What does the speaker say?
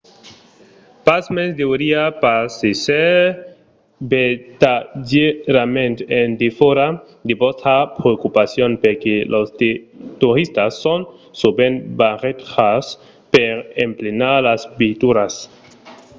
pasmens deuriá pas èsser vertadièrament en defòra de vòstra preocupacion perque los toristas son sovent barrejats per emplenar las veituras